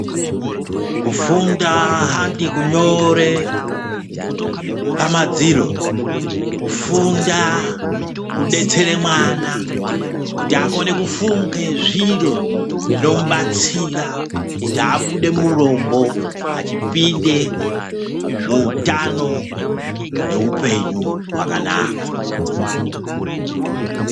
Kufunda handi kunyore pamadziro kufunda kudetsere mwana kuti akone kufunga zviro zvinomubatsira kuti abude murombo achipinda muhutano nehupenyu hwakanaka.